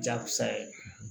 Jakusa ye